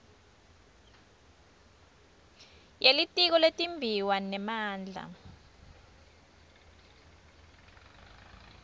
yelitiko letimbiwa nemandla